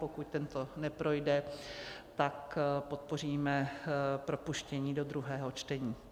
Pokud tento neprojde, tak podpoříme propuštění do druhého čtení.